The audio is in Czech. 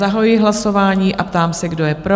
Zahajuji hlasování a ptám se, kdo je pro?